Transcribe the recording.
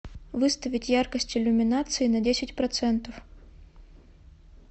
выставить яркость иллюминации на десять процентов